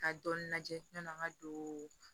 Ka dɔɔnin lajɛ ɲ'an ka don